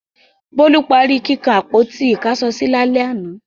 Bólú parí kíkan àpótí-ìkáṣọsí lálẹ́ àná.